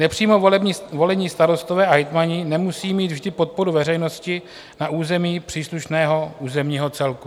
Nepřímo volení starostové a hejtmani nemusí mít vždy podporu veřejnosti na území příslušného územního celku.